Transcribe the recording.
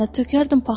verərdim sənə,